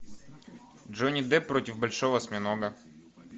джонни депп против большого осьминога